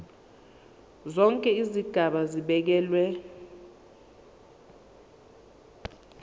zonke izigaba zibekelwe